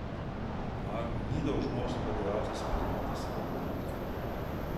Mar ni dolžnost prodajalca poznati svoje izdelke?